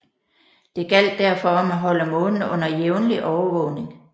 Det gjaldt derfor om at holde Månen under jævnlig overvågning